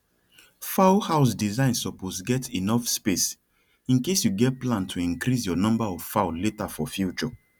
fowl house design suppose get enough space incase you get plan to increase your number of fowl later for future